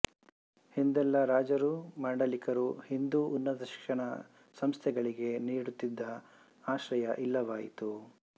ಹಿಂದೆಲ್ಲ ರಾಜರೂ ಮಾಂಡಲಿಕರೂ ಹಿಂದೂ ಉನ್ನತ ಶಿಕ್ಷಣ ಸಂಸ್ಥೆಗಳಿಗೆ ನೀಡುತ್ತಿದ್ದ ಆಶ್ರಯ ಇಲ್ಲವಾಯಿತು